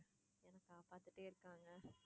எனக்கா பாத்துக்கிட்டே இருக்காங்க.